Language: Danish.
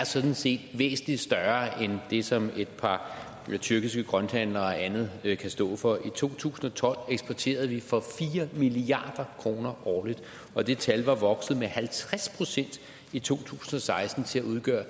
sådan set er væsentlig større end det som et par tyrkiske grønthandlere og andet kan stå for i to tusind og tolv eksporterede vi for fire milliard kroner årligt og det tal var vokset med halvtreds procent i to tusind og seksten til at udgøre